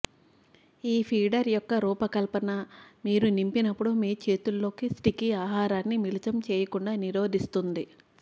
ఈ ఫీడర్ యొక్క రూపకల్పన మీరు నింపినప్పుడు మీ చేతుల్లో స్టికీ ఆహారాన్ని మిళితం చేయకుండా నిరోధిస్తుంది